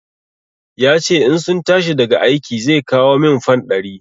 Ya ce in sun tashi daga aiki zai kawo min fan ɗari.